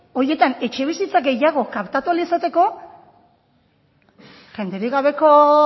horietan etxebizitza gehiago kaptatu ahal izateko jenderik gabeko